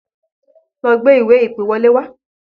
Lọ gbé ìwé-ìpèwọlé wá!